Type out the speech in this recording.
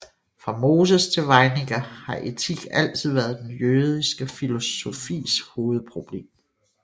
Fra Moses til Weininger har etik altid været den jødiske filosofis hovedproblem